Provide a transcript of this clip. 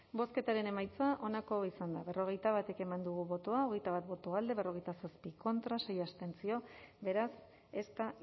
bozketaren emaitza onako izan da berrogeita bat eman dugu bozka hogeita bat boto alde berrogeita zazpi contra sei abstentzio beraz ez da